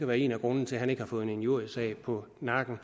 være en af grundene til at han ikke har fået en injuriesag på nakken